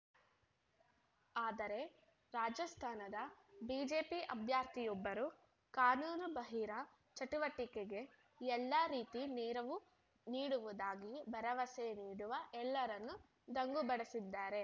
ಆದರೆ ರಾಜಸ್ಥಾನದ ಬಿಜೆಪಿ ಅಭ್ಯರ್ಥಿಯೊಬ್ಬರು ಕಾನೂನು ಬಾಹಿರ ಚಟುವಟಿಕೆಗೆ ಎಲ್ಲಾ ರೀತಿ ನೆರವು ನೀಡುವುದಾಗಿ ಭರವಸೆ ನೀಡುವ ಎಲ್ಲರನ್ನೂ ದಂಗುಬಡಿಸಿದ್ದಾರೆ